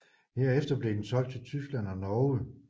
Herefter blev den solgt til Tyskland og Norge